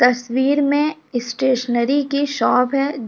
तस्वीर में स्टेशनरी की शॉप है ज --